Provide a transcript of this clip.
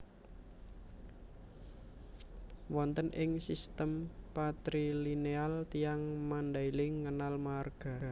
Wonten ing sistem patrilineal tiyang Mandailing ngenal marga